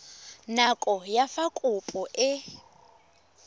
nako ya fa kopo e